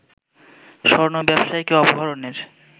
স্বর্ণ ব্যবসায়ীকে অপহরণের